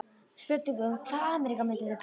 Spurning hvað Ameríka myndi kalla þau.